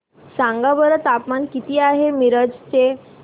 सांगा बरं तापमान किती आहे मिरज चे